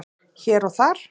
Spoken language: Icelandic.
Hér og þar